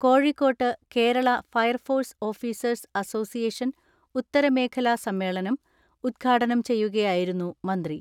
കോഴിക്കോട്ട് Kerala fire force officers association ഉത്തരമേഖലാ സമ്മേ ളനം ഉദ്ഘാടനം ചെയ്യുകയായിരുന്നു മന്ത്രി.